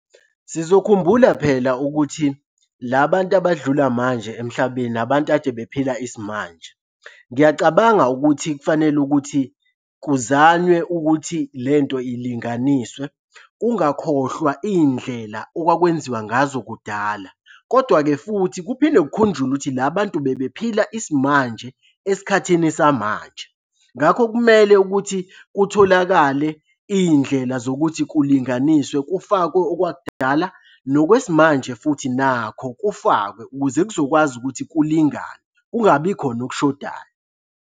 Sizokhumbula phela ukuthi la bantu abadlula manje emhlabeni abantu ade bephila isimanje. Ngiyacabanga ukuthi kufanele ukuthi kuzanywe ukuthi le nto ilinganiswe. Kungakhohlwa iy'ndlela okwakwenziwa ngazo kudala, kodwa-ke futhi kuphinde kukhunjulwe ukuthi la bantu bebephila isimanje esikhathini samanje. Ngakho kumele ukuthi kutholakale iy'ndlela zokuthi kulinganiswe kufakwe okwakudala nokwesimanje futhi nakho kufakwe ukuze kuzokwazi ukuthi kulingane, kungabi khona okushodayo.